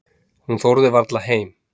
Hún þorði varla heim.